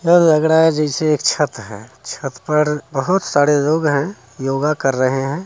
ऐसा लग रहा है ये एक छत है छत पर बहुत सारे लोग है और योगा कर रहे है।